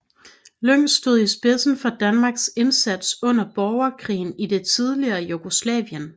Lyng stod i spidsen for Danmarks indsats under borgerkrigen i det tidligere Jugoslavien